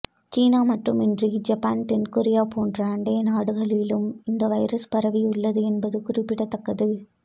சீனா மட்டுமின்றி ஜப்பான் தென்கொரியா போன்ற அண்டை நாடுகளிலும் இந்த வைரஸ் பரவி உள்ளது என்பது குறிப்பிடத்தக்கது